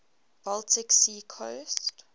baltic sea coast